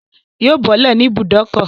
Yóò bọ́lẹ̀ ní ibùbókọ̀